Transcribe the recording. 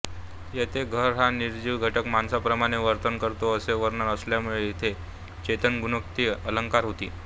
येथे घर हा निर्जीव घटक माणसाप्रमाणे वर्तन करतो असे वर्णन आल्यामुळे इथे चेतनगुणोक्ती अलंकार होतो